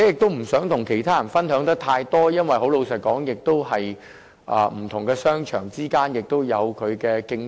它們不想與其他人分享得太多資料，老實說，因為不同商場之間亦存在競爭。